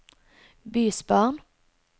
bysbarn